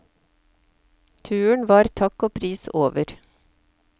Turen var takk og pris over.